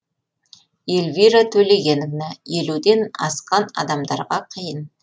эльвира төлегеновна елуден асқан адамдарға қиын